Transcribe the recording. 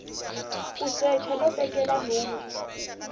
ku secha no tekela nhundzu